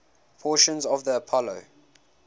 portions of the apollo